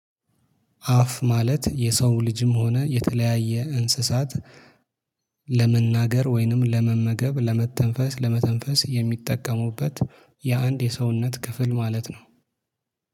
አፍ ማለት የሰው ልጅም ሆነ የተለያየ እንስሳት ለመናገር ወይንም ለመመገብ ለመተንፈስ ለመተንፈስ የሚጠቀሙበት የአንድ የሰውነት ክፍል ማለት ነው